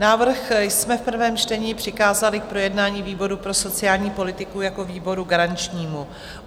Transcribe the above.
Návrh jsme v prvém čtení přikázali k projednání výboru pro sociální politiku jako výboru garančnímu.